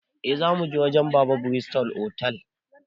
Eh, zamuje wajen baba a bristol otal